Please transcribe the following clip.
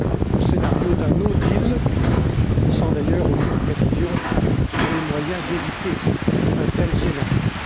le scénario d'un no deal sans d'ailleurs aucune précision sur les moyens d'éviter un tel scénario.